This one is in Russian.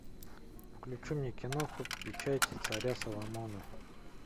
включи мне кино печать царя соломона